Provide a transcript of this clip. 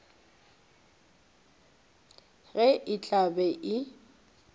ge e tla be e